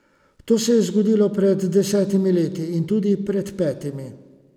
To se je zgodilo pred desetimi leti in tudi pred petimi.